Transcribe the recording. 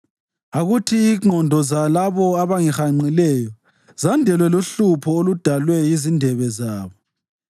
Akuthi ingqondo zalabo abangihanqileyo zandelwe luhlupho oludalwe yizindebe zabo.